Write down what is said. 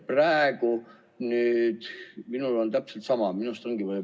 Praegu on minul täpselt sama.